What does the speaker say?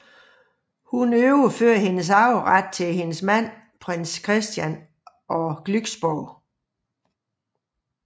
Hun overfører sin arveret til sin mand prins Christian af Glücksborg